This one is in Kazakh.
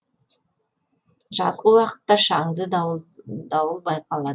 жазғы уақытта шаңды дауыл байқалады